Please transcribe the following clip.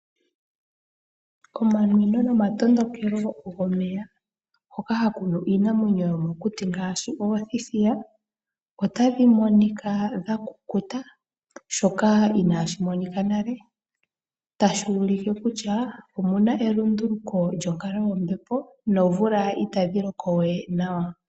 Komanwino nomatondokelo gomeya hoka haku nu iinamwenyo yo mokuti ngaashi oothithiya, otadhi monika dha kukuta shoka inaashi monika nale, tashi ulike kutya omuna elunduluko lyonkalo yombepo, noomvula itadhi loko we nawa.